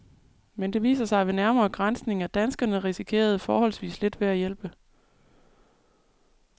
Men det viser sig ved nærmere granskning, at danskerne risikerede forholdsvis lidt ved at hjælpe.